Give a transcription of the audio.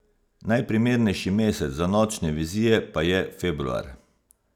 Najprimernejši mesec za nočne vizije pa je februar.